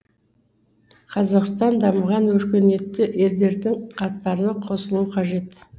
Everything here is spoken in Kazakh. қазақстан дамыған өркениетті елдердің қатарына қосылуы қажет